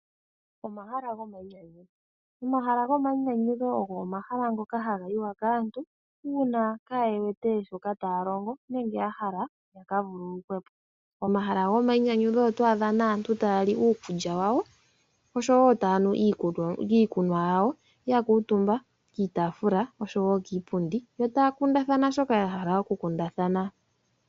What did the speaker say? Omahala gomayinyanyudho, omahala gomayinyanyudho ogo omahala ngoka haga yiwa kaantu uuna kaaye wete shoka taya longo nenge ya hala ya ka vululukwe po. Pomahala goma yinyanyudho oto adha aantu taya li iikulya yawo oshowo taya nu iikunwa yawo ya kuutumba kiitaafula oshowo kiipundi yo taya kundathana shoka ya hala okukundathana.